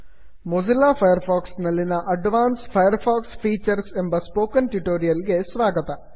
Mozilla Firefox ನಲ್ಲಿನ advance Firefox features ಎಂಬ spoken tutorial ಗೆ ಸ್ವಾಗತ